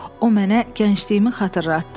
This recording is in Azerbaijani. O mənə gəncliyimi xatırlatdı.